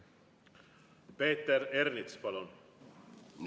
Peeter Ernits, palun!